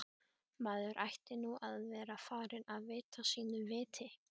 Maður ætti nú að vera farinn að vita sínu viti.